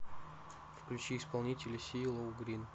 включи исполнителя си ло грин